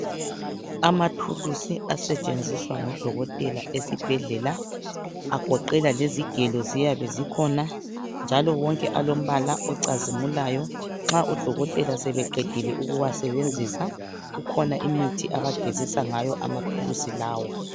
Amathulisi asetshenziswa ngodokotela esibhedlela agoqela lezigelo ziyabe zikhona njalo wonke alombala ocazimulayo. Nxa odokotela sebeqedile ukuwasebenzisa ukhona imithi abagezisa ngayo amathulusi lawa.